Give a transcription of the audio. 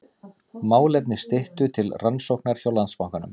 Málefni Styttu til rannsóknar hjá Landsbanka